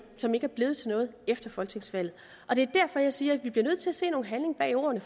som ikke er blevet til noget efter folketingsvalget det er derfor jeg siger at vi bliver nødt til at se noget handling bag ordene